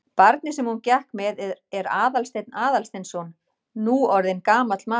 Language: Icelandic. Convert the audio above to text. Barnið sem hún gekk með er Aðalsteinn Aðalsteinsson, nú orðinn gamall maður.